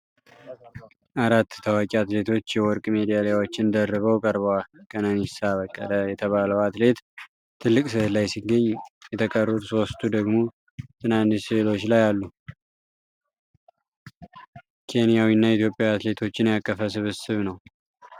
አራት ታዋቂ አትሌቶች የወርቅ ሜዳሊያዎችን ደርበው ቀርበዋል። ከነኒሳ በቀለ የተባለው አትሌት ትልቅ ስዕል ላይ ሲገኝ፣ የተቀሩት ሦስቱ ደግሞ ትናንሽ ስዕሎች ላይ አሉ። ኬንያዊና ኢትዮጵያዊ አትሌቶችን ያቀፈ ስብስብ ነው።